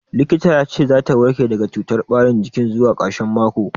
Likita ya ce za ta warke daga cutar ɓarin jikin zuwa ƙarshen mako.